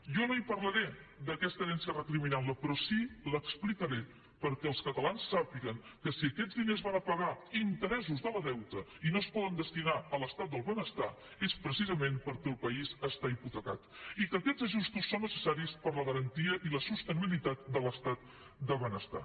jo no parlaré d’aquesta herència recriminant la però sí que l’explicaré perquè els catalans sàpiguen que si aquests diners van a pagar interessos del deute i no es poden destinar a l’estat del benestar és precisament perquè el país està hipotecat i que aquests ajustos són necessaris per a la garantia i la sostenibilitat de l’estat del benestar